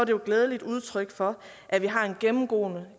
jo et glædeligt udtryk for at vi gennemgående